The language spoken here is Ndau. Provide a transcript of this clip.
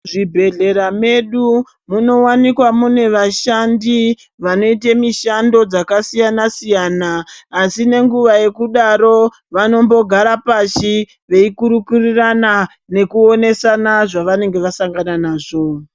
Zvibhedhlera medu, munowanikwa mune vashandi vanoite mushando dzakasiyana -siyana, asi nenguva yekudaro, vanombogara pashi veikurukurirana nekuonesana zvavanenge vasangana nazvo.